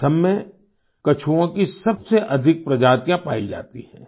असम में कछुओं की सबसे अधिक प्रजातियाँ पाई जाती हैं